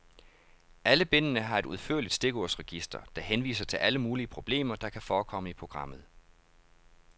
Alle bindene har et udførligt stikordsregister, der henviser til alle mulige problemer, der kan forekomme i programmet.